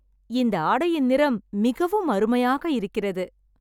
இந்த ஆடையின் நிறம் மிகவும் அருமையாக இருக்கிறது.